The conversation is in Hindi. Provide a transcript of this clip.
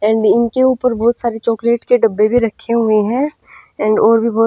एंड इनके ऊपर बहुत सारे चॉकलेट के डब्बे भी रखे हुए हैं एंड और भी बहुत--